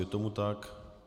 Je tomu tak.